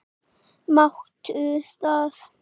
Máttu það?